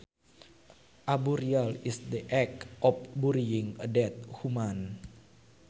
A burial is the act of burying a dead human